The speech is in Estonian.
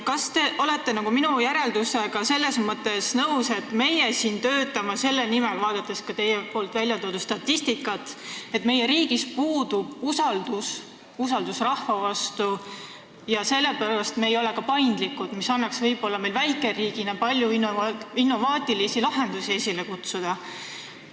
Kas te olete minu järeldusega selles mõttes nõus – ma vaatan ka teie toodud statistikat –, et meie riigis puudub usaldus, usaldus rahva vastu, ja sellepärast ei ole me ka paindlikud, mis võimaldaks meil väikeriigina võib-olla palju innovaatilisi lahendusi leida?